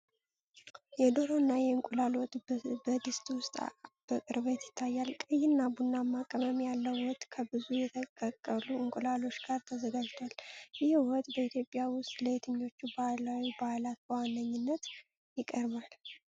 የዶሮና የእንቁላል ወጥ በድስት ውስጥ በቅርበት ይታያል። ቀይና ቡናማ ቅመም ያለው ወጥ ከብዙ የተቀቀሉ እንቁላሎች ጋር ተዘጋጅቷል። ይህ ወጥ በኢትዮጵያ ውስጥ ለየትኞቹ ባህላዊ በዓላት በዋነኛነት ይቀርባል?